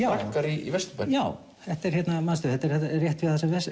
braggar í Vesturbænum já manstu þetta er rétt